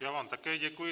Já vám také děkuji.